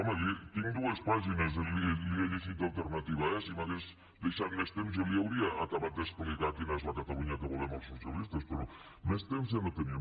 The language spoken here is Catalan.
home tinc dues pàgines les hi he llegit d’alternativa eh si m’hagués deixat més temps jo li hauria acabat d’explicar quina és la catalunya que volem els socialistes però més temps ja no tenia